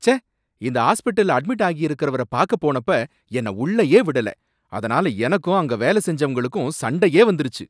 ச்சே! இந்த ஆஸ்பிட்டல்ல அட்மிட் ஆகியிருக்கறவர பாக்க போனப்ப என்னை உள்ளேயே விடல அதனால எனக்கும் அங்க வேலை செஞ்சவங்களுக்கும் சண்டையே வந்துருச்சி